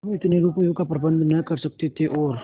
हम इतने रुपयों का प्रबंध न कर सकते थे और